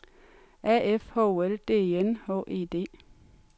A F H O L D E N H E D